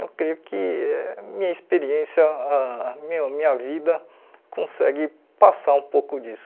Eu creio que minha experiência, ah meu minha vida consegue passar um pouco disso.